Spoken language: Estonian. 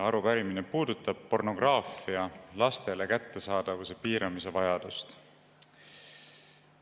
Arupärimine puudutab vajadust piirata pornograafia kättesaadavust laste seas.